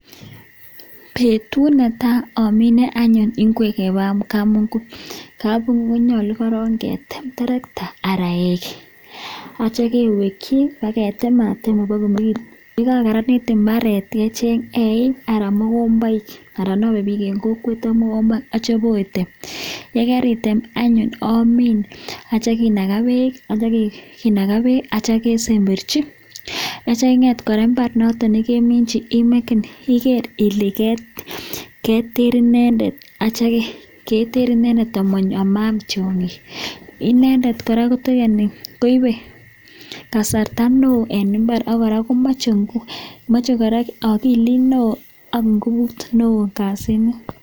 Betut netai amine anyun ngwek en kabungui konyolu korong ketem terekta anan eik ak kityo keweki ketematem iboko karanit. Ye kakaranit mbaret, kecheng eik anan ko mogomboik, aanan inome biik en kokwet ak mogomboik ak kityo ibo tem. Ye karitem anyun omin ak kityo kinaga beek ak kityo kesemberchi, ak kityo ing'et kora mbar noto nekimichi igere ile keter inendet amaam tyong'ik inendet kora koibe kasarta neo en mbar ak kora komoche ogilit neo ak ngubut neo kasini.